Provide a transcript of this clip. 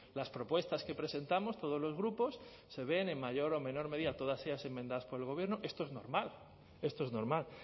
las propuestas que presentamos todos los grupos se ven en mayor o menor medida todas ellas enmendadas por el gobierno esto es normal esto es normal